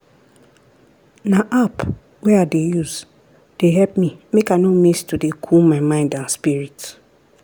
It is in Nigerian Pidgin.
na app wey i use dey help me make i no miss to dey cool my mind and spirit.